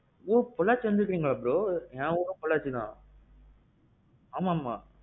ம்ம். அப்பிடியா?